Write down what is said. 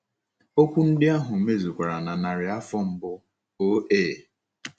Okwu ndị ahụ mezukwara na narị afọ mbụ O.A.